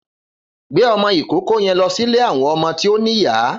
Gbé ọmọ ikóòkò yèn lọ silé awọn ọmọ ti ó nìyá